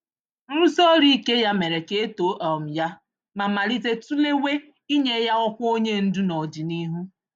Nrusi-ọrụ-ike ya mèrè ka etoo um ya, ma malite tulewa inye ya ọkwa onyé ndu nọdịnihu.